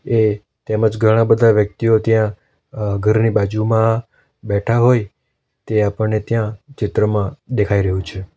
એ તેમજ ઘણા બધા વ્યક્તિઓ ત્યાં અહ ઘરની બાજુમાં બેઠા હોય તે આપણને ત્યાં ચિત્રમાં દેખાઈ રહ્યું છે.